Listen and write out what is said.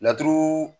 Laturu